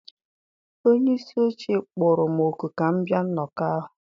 Onye isi oche kpọrọ m òkù ka m bịa nnọkọ ahụ